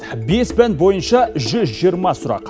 бес пән бойынша жүз жиырма сұрақ